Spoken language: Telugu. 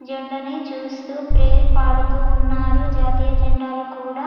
జెండా నీ చూస్తూ ప్రేయర్ పాడుతూ ఉన్నారు జాతీయ జెండాలు కూడా --